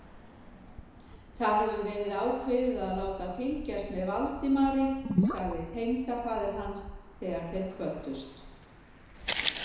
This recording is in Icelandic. Það hefur verið ákveðið að láta fylgjast með Valdimari sagði tengdafaðir hans, þegar þeir kvöddust.